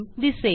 दिसेल